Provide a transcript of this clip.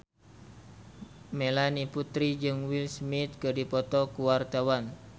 Melanie Putri jeung Will Smith keur dipoto ku wartawan